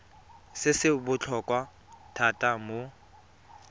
se se botlhokwa thata mo